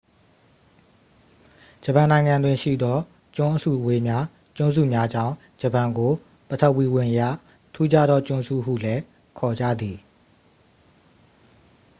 "ဂျပန်နိုင်ငံတွင် ရှိသော ကျွန်းအစုအဝေးများ/ကျွန်းစုများကြောင့် ဂျပန်ကို ပထဝီဝင်အရ ထူးခြားသော "ကျွန်းစု" ဟုလည်း ခေါ်ကြသည်။